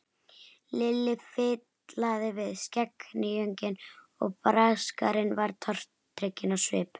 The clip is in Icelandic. Lilli fitlaði við skegghýjunginn, Braskarinn var tortrygginn á svip.